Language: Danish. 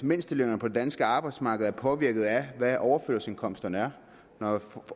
mindstelønningerne på det danske arbejdsmarked er påvirket af hvad overførselsindkomsterne er når